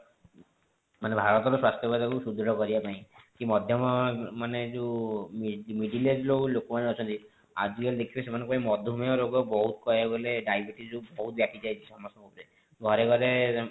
ମାନେ ଭାରତ ର ସ୍ୱାସ୍ଥ୍ୟ ବ୍ୟବସ୍ଥା କୁ ସୃଦୃଢ କରିବା ପାଇଁ କି ମଧ୍ୟମ ମାନେ ଯେଉଁ middle middle age ର ଲୋକ ମାନେ ଅଛନ୍ତି ଆଜି କାଲି ସେମାନଙ୍କୁ ମଧୁମେୟ ରୋଗ ବହୁତ କହିବାକୁ ଗଲେ diabetes ଯୋଉ ବହୁତ ବ୍ୟାପୀ ଯାଇଛି ସମସ୍ତଙ୍କ ଉପରେ ଘରେ ଘରେ